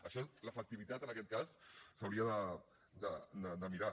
això l’efectivitat en aquest cas s’hauria de mirar